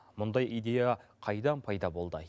мұндай идея қайдан пайда болды